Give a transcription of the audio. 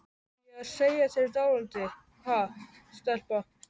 Á ég að segja þér dálítið, ha, stelpa?